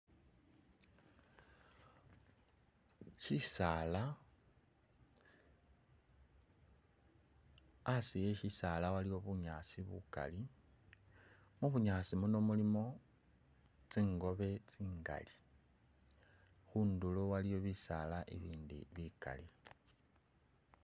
Shisaala, asi e shisaala aliwo bunyaasi bukali, mu bunyaasi muno mulimo tsingobe tsingali, khundulo waliyo bisaala ibindi bikali.